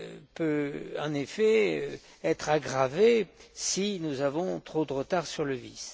peut en effet être aggravé si nous avons trop de retard sur le VIS.